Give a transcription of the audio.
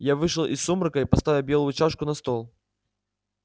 я вышел из сумрака и поставил белую чашку на стол